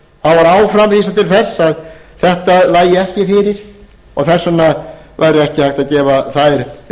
var áfram vísað til þess að þetta lægi ekki fyrir og þess vegna væri ekki hægt að gefa þær